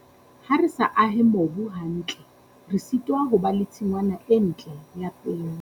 Ha re sa ahe mobu hantle, re sitwa ho ba le tshingwana e ntle ya peo.